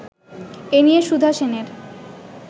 এ নিয়ে সুধা সেনের